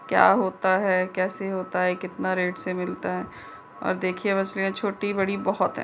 क्या होता है कैसे होता है कितना रेट से मिलता है और देखिये उसमे छोटी बड़ी बहोत हैं।